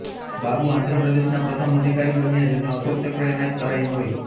બાબુ આંધ્ર પ્રદેશના પ્રથમ અધિકારી બન્યા જેમને અશોક ચક્ર એનાયત કરાયું હોય